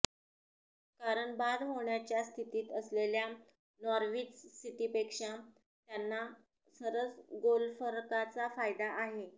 कारण बाद होण्याच्या स्थितीत असलेल्या नॉर्विच सिटीपेक्षा त्यांना सरस गोलफरकाचा फायदा आहे